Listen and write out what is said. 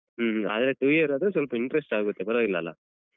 ಹ್ಮ ಹಾಗಾದ್ರೆ two year ಆದ್ರೆ ಸ್ವಲ್ಪ interest ಆಗುತ್ತೆ ಪರ್ವಾಗಿಲ್ಲಲ್ಲಾ?